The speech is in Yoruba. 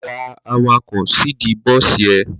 Gba awakọ̀ síìdí bọ́sì ẹ!